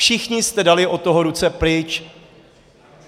Všichni jste dali od toho ruce pryč.